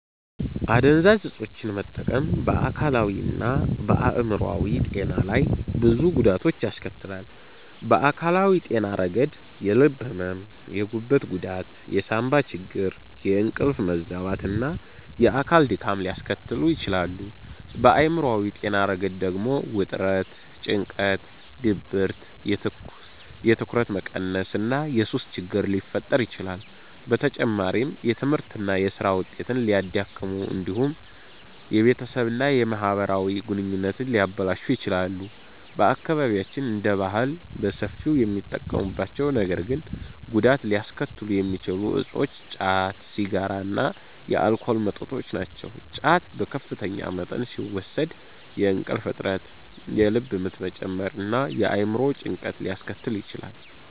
አደንዛዥ ዕፆችን መጠቀም በአካላዊና በአእምሯዊ ጤና ላይ ብዙ ጉዳቶችን ያስከትላል። በአካላዊ ጤና ረገድ የልብ ሕመም፣ የጉበት ጉዳት፣ የሳንባ ችግር፣ የእንቅልፍ መዛባት እና የአካል ድካም ሊያስከትሉ ይችላሉ። በአእምሯዊ ጤና ረገድ ደግሞ ውጥረት፣ ጭንቀት፣ ድብርት፣ የትኩረት መቀነስ እና የሱስ ችግር ሊፈጠር ይችላል። በተጨማሪም የትምህርትና የሥራ ውጤትን ሊያዳክሙ እንዲሁም የቤተሰብና የማህበራዊ ግንኙነቶችን ሊያበላሹ ይችላሉ። በአካባቢያችን እንደ ባህል በሰፊው የሚጠቀሙባቸው ነገር ግን ጉዳት ሊያስከትሉ የሚችሉ እፆች ጫት፣ ሲጋራ እና የአልኮል መጠጦች ናቸው። ጫት በከፍተኛ መጠን ሲወሰድ የእንቅልፍ እጥረት፣ የልብ ምት መጨመር እና የአእምሮ ጭንቀት ሊያስከትል ይችላል።